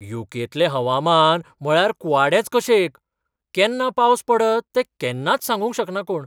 You. K. तलें हवामान म्हळ्यार कुवाडेंच कशें एक, केन्ना पावस पडत तें केन्नाच सांगूंक शकना कोण.